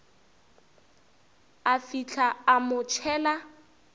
a fihla a mo tšhela